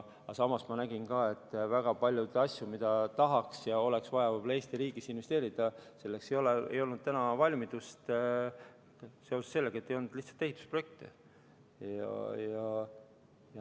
Samas ma nägin ka, et väga paljudeks asjadeks, kuhu tahaks ja kuhu oleks vaja võib-olla Eesti riigis investeerida, ei olnud valmidust, sest ei olnud lihtsalt ehitusprojekte.